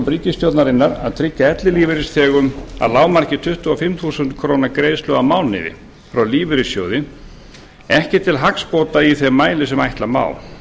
ríkisstjórnarinnar að tryggja ellilífeyrisþegum að lágmarki tuttugu og fimm þúsund króna greiðslu á mánuði frá lífeyrissjóði ekki til hagsbóta í þeim mæli sem ætla má